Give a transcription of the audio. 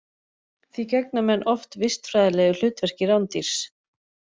Því gegna menn oft vistfræðilegu hlutverki rándýrs.